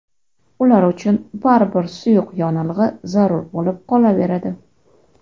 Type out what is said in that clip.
Ular uchun baribir suyuq yonilg‘i zarur bo‘lib qolaveradi.